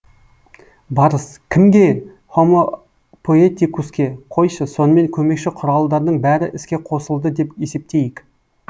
барыс кімге һомо поэтикуске қойшы сонымен көмекші құралдардың бәрі іске қосылды деп есептейік